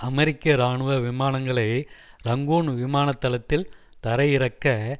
அமெரிக்க இராணுவ விமானங்களை இரங்கூன் விமானத்தளத்தில் தரையிறக்க